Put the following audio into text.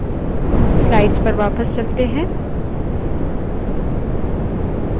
slides पर वापस चलते हैं